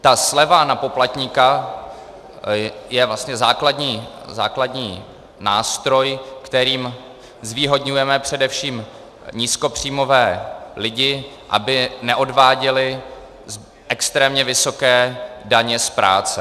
Ta sleva na poplatníka je vlastně základní nástroj, kterým zvýhodňujeme především nízkopříjmové lidi, aby neodváděli extrémně vysoké daně z práce.